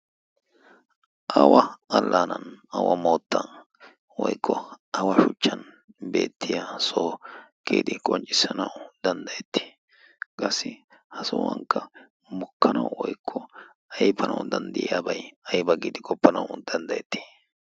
awa allaanan awa moottan woykko awa shuchchan beettiya sohokkiidi qonccissanawu danddayettii? qaassi ha sohuwankka mukkanau woikko aifanau danddayiyaabay ayba giidi qoppanau danddayettii?